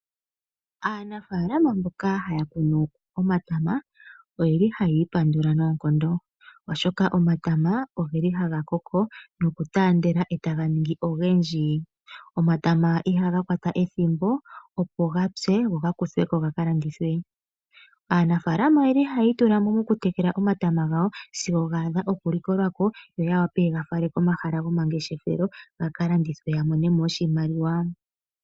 Aanafaalama mboka haya kunu omatama ohayi ipandula noonkondo, oshoka omatama ogeli haga koko nokutaandela etaga ningi ogendji. Omatama ihaga kwata ethimbo opo ga pye go ga kuthwe ko ga ka landithwe. Aanafaalama ohaya itula mo mokutekela omatama gawo sigo ga adha okuteywa ya wape ye ga fale komahala gomangeshefelo ya ka landithe ya mone mo oshimaliwa.